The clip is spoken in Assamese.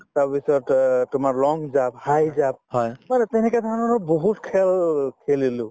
তাৰপিছত তোমাৰ অ long জাপ , high জাপ তেনেকে ধৰণৰ মানে বহুত খেল খেলিলো